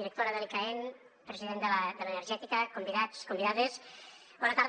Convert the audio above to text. directora de l’icaen president de l’energètica convidats convidades bona tarda